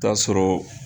Taa sɔrɔ